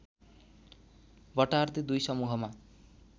बटार्दै दुई समूहमा